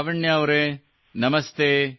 ಲಾವಣ್ಯಾ ಅವರೇ ನಮಸ್ತೇ